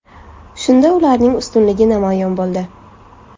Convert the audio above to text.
Shunda ularning ustunligi namoyon bo‘ldi.